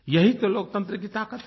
यही तो लोकतंत्र की ताकत है